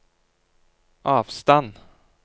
avstand